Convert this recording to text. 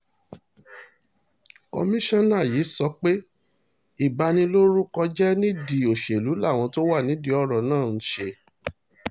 kọmisanna yi sọpe ibanilorukọ jẹ nidi oṣelu lawọn to wa nidi ọrọ naa nṣe